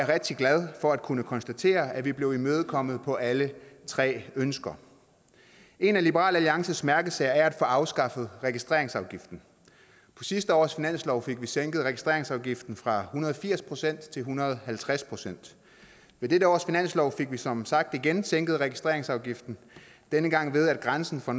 rigtig glad for at kunne konstatere at vi er blevet imødekommet på alle tre ønsker en af liberal alliances mærkesager er at få afskaffet registreringsafgiften på sidste års finanslov fik vi sænket registreringsafgiften fra hundrede og firs procent til en hundrede og halvtreds procent i dette års finanslov fik vi som sagt igen sænket registreringsafgiften denne gang ved at grænsen for